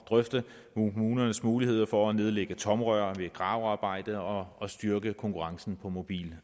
drøfte kommunernes muligheder for at nedlægge tomrør ved gravearbejde og og styrke konkurrencen på mobil